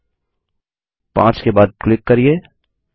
5 के बाद क्लिक करिये